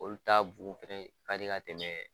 Olu ta bu fɛnɛ ka di ka tɛmɛ